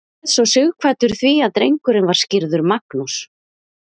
réð svo sighvatur því að drengurinn var skírður magnús